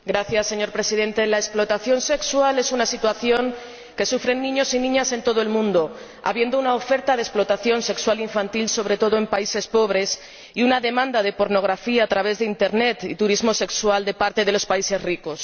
Señor Presidente, la explotación sexual es una situación que sufren niños y niñas en todo el mundo, habiendo una oferta de explotación sexual infantil, sobre todo en los países pobres, y una demanda de pornografía a través de Internet y de turismo sexual por parte de los países ricos.